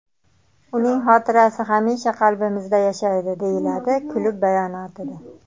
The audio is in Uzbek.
Uning xotirasi hamisha qalbimizda yashaydi”, deyiladi klub bayonotida.